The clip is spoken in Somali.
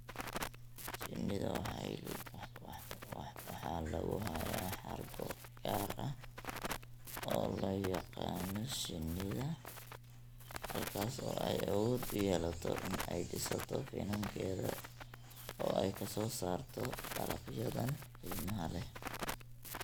Shinnida waxaa lagu hayaa xargo gaar ah oo loo yaqaanno shinida, halkaas oo ay awood u yeelato in ay dhisato finankeeda oo ay ka soo saarto dalagyadan qiimaha leh.